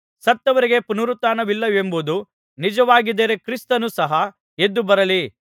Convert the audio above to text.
ಸತ್ತವರಿಗೆ ಪುನರುತ್ಥಾನವಿಲ್ಲವೆಂಬುದು ನಿಜವಾಗಿದ್ದರೆ ಕ್ರಿಸ್ತನು ಸಹ ಎದ್ದುಬರಲಿಲ್ಲ